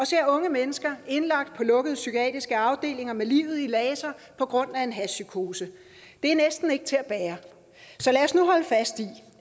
ser unge mennesker indlagt på lukkede psykiatriske afdelinger med livet i laser på grund af en hashpsykose det er næsten ikke til at bære så lad os nu holde fast i